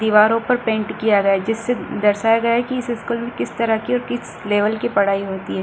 दीवारों पर पेंट किया गया है जिससे दर्शाया गया है की इस स्कूल में किस तरह की ओर किस लेवल की पढ़ाई होती है।